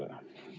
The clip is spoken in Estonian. Aitäh!